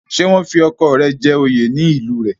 Ṣé wọ́n fi ọkọ rẹ jẹ oyè ní ìlú rẹ̀?